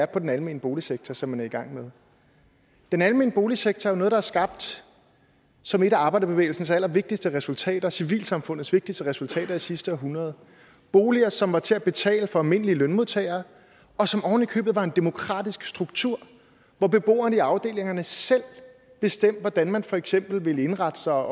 den almene boligsektor som man er i gang med den almene boligsektor er noget der er skabt som et af arbejderbevægelsens allervigtigste resultater civilsamfundets vigtigste resultater i sidste århundrede boliger som var til at betale for almindelige lønmodtagere og som oven i købet var en demokratisk struktur hvor beboerne i afdelingerne selv bestemte hvordan man for eksempel ville indrette sig